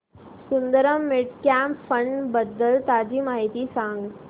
Sundaram mid cap fund बद्दल ताजी माहिती सांग